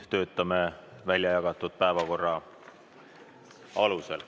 Töötame väljajagatud päevakorra alusel.